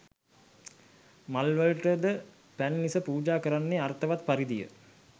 මල්වලට ද පැන් ඉස පූජා කරන්නේ අර්ථවත් පරිදිය.